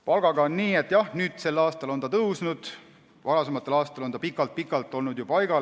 Palgaga on nii, et jah, sel aastal on see tõusnud, varasematel aastatel oli see pikalt-pikalt paigal.